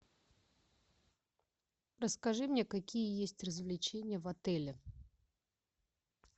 расскажи мне какие есть развлечения в отеле